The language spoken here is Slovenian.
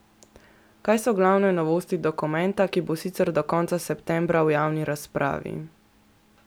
Kaj so glavne novosti dokumenta, ki bo sicer do konca septembra v javni razpravi?